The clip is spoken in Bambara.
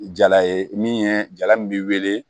Jala ye min ye jala min bi weele